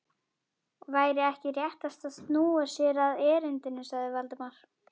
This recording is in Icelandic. Væri ekki réttast að snúa sér að erindinu? sagði Valdimar.